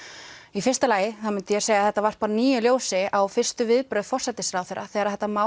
í fyrsta lagi myndi ég segja að þetta varpar nýju ljósi á fyrstu viðbrögð forsætisráðherra þegar þetta mál